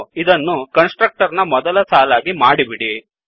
ಇದನ್ನು constructor ನ ಮೊದಲ ಸಾಲಾಗಿ ಮಾಡಿಬಿಡಿ